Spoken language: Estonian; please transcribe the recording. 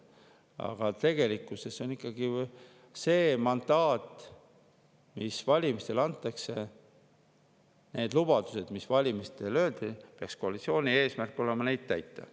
Aga tegelikkuses ikkagi peaks koalitsiooni eesmärk olema täita need lubadused, mis valimistel välja öeldi ja milleks valimistel neile mandaat anti.